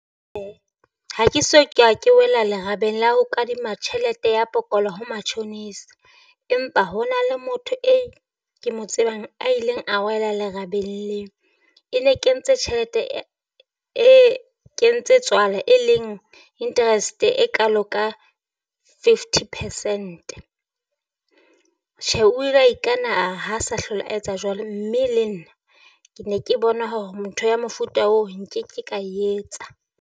Ha ke so ke wela lerabeng la ho kadima tjhelete ya pokola ho matjhonisa, empa ho na le motho e ke mo tsebang a ileng a wela lerabeng leo. E ne kentse tjhelete e kentse tswala e leng interest e kalo ka fifty percent, tjhe o ile a ikana a re ha sa hlola a etsa jwalo mme le nna ke ne ke bona hore motho ya mofuta oo nkeke ka etsa.